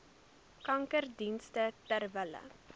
kankerdienste ter wille